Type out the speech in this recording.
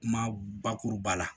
Kuma bakuruba la